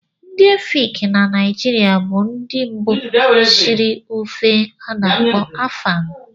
Ndị Efik na Naịjirịa bụ ndị mbụ shiri ofe ana-akpo Afang.